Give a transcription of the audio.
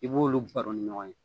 I b'olu baro ni ɲɔgɔn ye